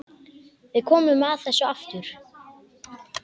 Við komum að þessu aftur.